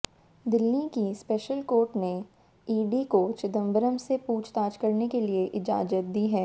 दिल्ली की special court ने ED को चिदंबरम से पूछताछ करने की इजाजत दी है